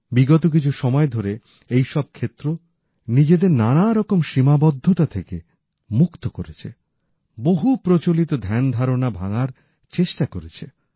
বিগত কিছু সময় ধরেই এই সব ক্ষেত্র তার নানা রকম সীমাবদ্ধতা থেকে মুক্তি করেছে বহু প্রচলিত ধ্যানধারণা ভাঙার চেষ্টা করেছে